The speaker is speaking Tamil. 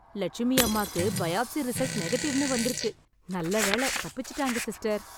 லட்சுமியம்மாக்கு பயாப்ஸி ரிசல்ட் நெகட்டிவ்னு வந்துருக்கு... நல்லவேளை தப்பிச்சுட்டாங்க சிஸ்டர்.